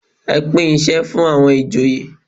Ẹ pín isẹ fún àwọn ìjòyè.